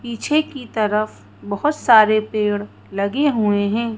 पीछे की तरफ बहुत सारे पेड़ लगे हुए हैं।